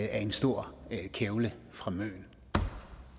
af en stor kævle fra møn